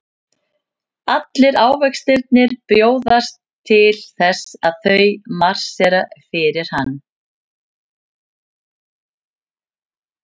Allir ávextirnir bjóðast til þess og þau marsera fyrir hann.